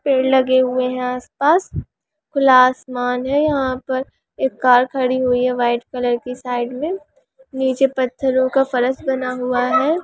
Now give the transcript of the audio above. पेड़ लगे हुए है आस-पास खुला आसमान है यहाँ पर एक कार खड़ी हुई है व्हाइट कलर की साइड मे नीचे पत्थरो का फरस बना हुआ है।